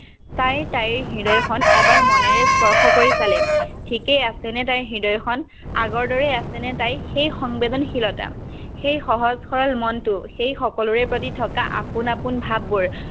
তাই তাইৰ হৃদয়খন এবাৰ মনেৰে স্পৰ্শ কৰি চালে, ঠিকেই আছেনে তাইৰ হৃদয়খন। আগৰদৰেই আছেনে তাই এই সংবেদনশীলতা, সেই সহজ-সৰল মনটো, সেইসকলৰে প্ৰতি থকা আপোন-আপোন ভাৱবোৰ।